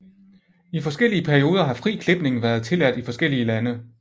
I forskellige perioder har fri klipning været tilladt i forskellige lande